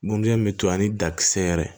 Ŋunu gɛn min to a ni dakisɛ yɛrɛ